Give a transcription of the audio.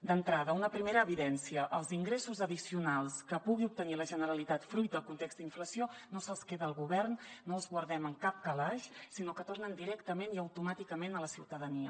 d’entrada una primera evidència els ingressos addicionals que pugui obtenir la generalitat fruit del context d’inflació no se’ls queda el govern no els guardem en cap calaix sinó que tornen directament i automàticament a la ciutadania